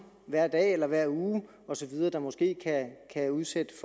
hver dag eller hver uge osv der måske kan udsætte